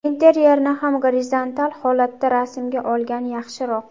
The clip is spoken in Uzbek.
Interyerni ham gorizontal holatda rasmga olgan yaxshiroq.